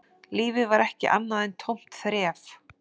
Lífið var ekki annað en tómt þref